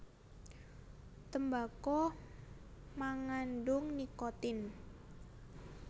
Tembako mangandhung nikotin